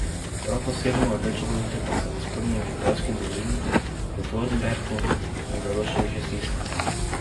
Prav posebno rdeče grozdje pa so v spodnji Vipavski dolini, v Dornberku in Zaloščah, že stisnili.